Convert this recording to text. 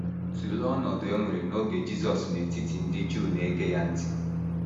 Tụlee ọnọdụ e nwere n’oge Jisọs n’etiti ndị Juu na - ege ya ntị.